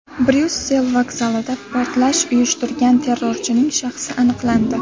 Bryussel vokzalida portlash uyushtirgan terrorchining shaxsi aniqlandi.